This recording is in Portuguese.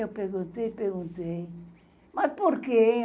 Eu perguntei, perguntei... Mas por quê, hein?